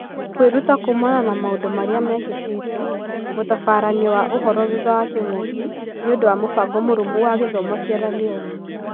Kwĩruta kuumana na maũndũ marĩa mekĩkĩĩte: mũtabaranio wa ũhoro thutha wa kĩng'ũki nĩũndũ wa mũbango mũrũmu wa gĩthomo Sieraloni.